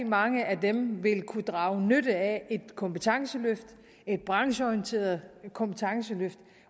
mange af dem vil kunne drage nytte af et kompetenceløft et brancheorienteret kompetenceløft